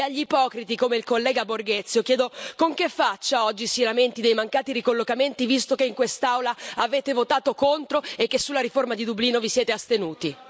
E agli ipocriti, come il collega Borghezio, chiedo con che faccia oggi si lamenti dei mancati ricollocamenti, visto che in quest'Aula avete votato contro e che sulla riforma di Dublino vi siete astenuti.